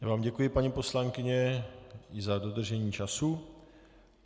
Já vám děkuji, paní poslankyně i za dodržení času.